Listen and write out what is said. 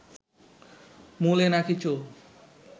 মূলে নাকি চুল